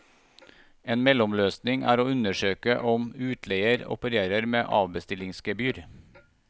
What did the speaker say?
En mellomløsning er å undersøke om utleier opererer med avbestillingsgebyr.